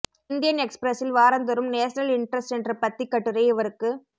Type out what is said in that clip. Indian எக்சுபிரசில் வாரந்தோறும் national interest என்ற பத்திக் கட்டுரை இவருக்குப்